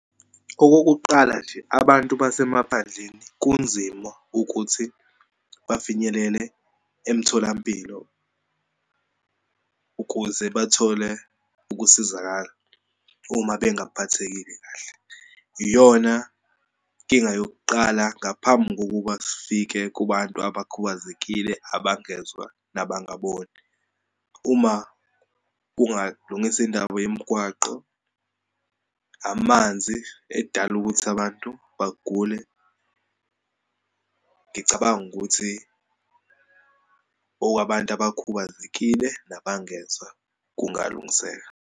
Okokuqala nje, abantu basemaphandleni kunzima ukuthi bafinyelele emtholampilo ukuze bathole ukusizakala uma bengaphathekile kahle. Iyona inkinga yokuqala ngaphambi kokuba kufike kubantu abakhubazekile, abangezwa nabangaboni. Uma kungalungiswa indaba yemgwaqo, amanzi edala ukuthi abantu bagule. Ngicabanga ukuthi okwabantu abakhubazekile nabangezwa kungalungiseka.